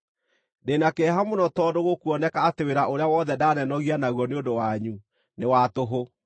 Ndĩ na kĩeha mũno tondũ gũkuoneka atĩ wĩra ũrĩa wothe ndanenogia naguo nĩ ũndũ wanyu nĩ wa tũhũ!